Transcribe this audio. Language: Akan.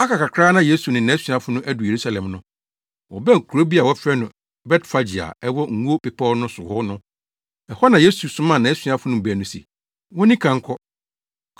Aka kakra na Yesu ne nʼasuafo no adu Yerusalem no, wɔbɛn kurow bi a wɔfrɛ no Betfage a ɛwɔ Ngo Bepɔw no so hɔ no. Ɛhɔ na Yesu somaa nʼasuafo no mu baanu se, wonni kan nkɔ.